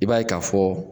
I b'a ye ka fɔ